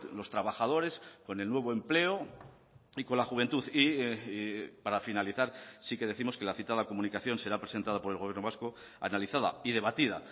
los trabajadores con el nuevo empleo y con la juventud y para finalizar sí que décimos que la citada comunicación será presentada por el gobierno vasco analizada y debatida